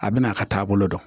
A bɛna a ka taabolo dɔn